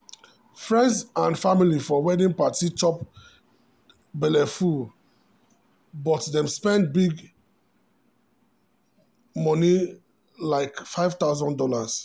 friends and family for wedding party chop belleful but dem spend big moni like five thousand dollars.